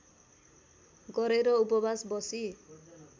गरेर उपवास बसी